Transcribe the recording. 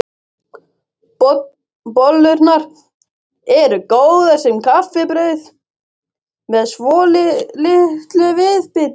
Bollurnar eru góðar sem kaffibrauð með svolitlu viðbiti.